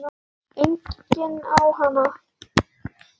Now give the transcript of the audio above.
Enginn á hana.